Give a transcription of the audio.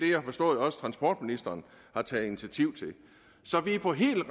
har forstået transportministeren har taget initiativ til så vi er på helt